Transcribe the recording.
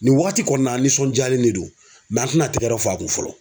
Nin wagati kɔni na an nisɔndiyalen de do an tɛna tɛgɛrɛ fɔ a kun fɔlɔ.